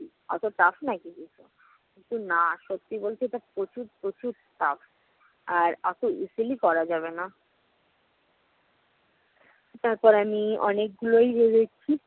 অত tough নাকি এ কিন্তু না সত্যি বলতে এটা প্রচুর প্রচুর tough আর অত easily করা যাবে না। তারপর আমি অনেকগুলোই আর অতো easily করা যাবেনা। তারপর আমি অনেকগুলোই